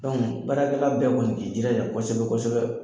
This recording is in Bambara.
baarakɛla bɛɛ kɔni k'i jila ja kɔsɛbɛ kɔsɛbɛ.